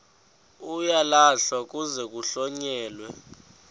uyalahlwa kuze kuhlonyelwe